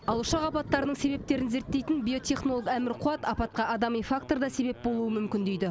ал ұшақ апаттарының себептерін зерттейтін биотехнолог әмір қуат апатқа адами фактор да себеп болуы мүмкін дейді